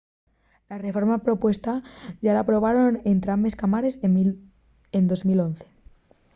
la reforma propuestá yá la aprobaren entrambes cámares en 2011